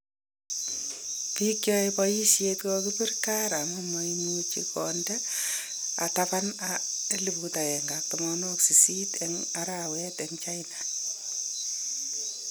Biik cheyae bayisyeet kokakipiir kaar amum maimuch konde tabaan 180,000 en araweet en China